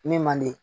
Min man di